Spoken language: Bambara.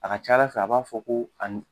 A ka ca Ala fɛ, a b'a fɔ ko a ni